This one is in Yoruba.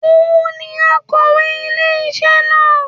Òun ni akọ̀wé ilé isé na